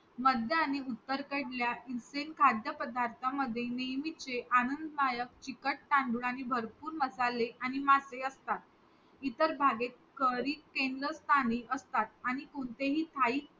मध्य आणि उत्तरकडल्या instant खाद्य पदार्थामध्ये नेहमीचे आनंददायक चिकट तांदूळ आणि भरपूर मसाले आणि मासे असतात. इतर भागेत curry केंद्रस्थानी असतात आणि कोणतेही thai